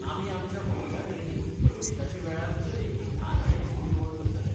आमी आमच्या महिला ट्रेनींक प्रवेशाचे वेळार दरेकी धा नाण्यांची पुरवण करतले.